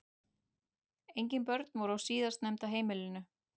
Engin börn voru á síðastnefnda heimilinu